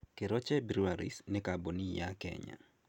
Keroche Breweries nĩ kambuni ya Kenya.